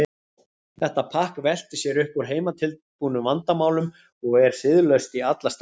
Þetta pakk veltir sér upp úr heimatilbúnum vandamálum og er siðlaust í alla staði.